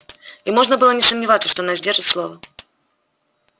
и можно было не сомневаться что она сдержит слово